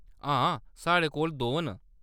हां, साढ़े कोल दो न।